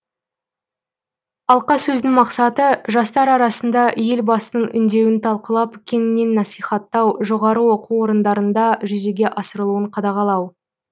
алқасөздің мақсаты жастар арасында елбасының үндеуін талқылап кеңінен насихаттау жоғары оқу орындарында жүзеге асырылуын қадағалау